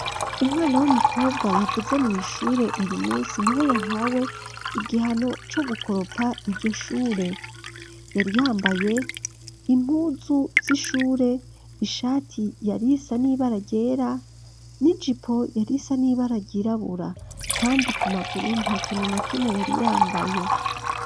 Umwana w'umukobwa yavuze mw'ishure uyu munsi ni we yahawe igihano co gukoropa iryo shure yari yambaye impunzu z'ishure ishati yarisa nibara ryera n'igipo yarisa n'ibara ryirabura kandi ku maguru nta kintu na kimwe yari yambaye.